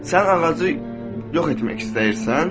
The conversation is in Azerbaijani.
Sən ağacı yox etmək istəyirsən?